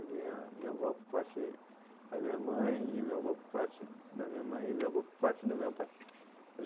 Minha minha avó por parte da minha mãe e meu avô por parte da minha mãe e meu avô por parte do meu pai.